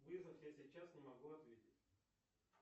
вызов я сейчас не могу ответить